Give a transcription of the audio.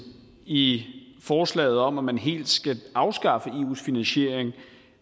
i forslaget om at man helt skal afskaffe eus finansiering